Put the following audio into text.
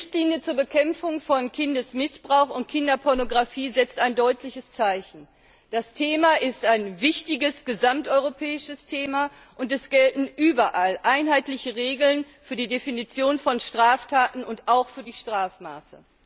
Die Richtlinie zur Bekämpfung von Kindesmissbrauch und Kinderpornografie setzt ein deutliches Zeichen. Das Thema ist ein wichtiges, gesamteuropäisches Thema, und es gelten überall einheitliche Regeln für die Definition von Straftaten und auch für die Strafmaße.